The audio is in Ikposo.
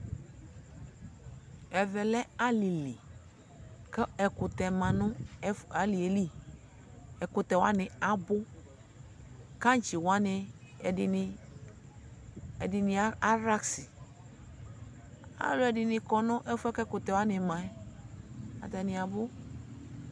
Ɛvɛ lɛ alɩli : kʋ ɛkʋtɛ ma nʋ ɛ alɩe li , ɛkʋtɛ wanɩ abʋ Kaŋtsɩ wanɩ ɛdɩnɩ ɛdɩnɩ arasɩ Alʋɛdɩnɩ kɔ n'ɛfʋɛ ɛkʋtɛ wanɩ ma ; atanɩ abʋ